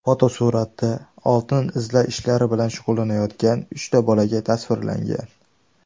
Fotosuratda oltin izlash ishlari bilan shug‘ullanayotgan uchta bolakay tasvirlangan.